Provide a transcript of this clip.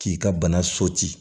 K'i ka bana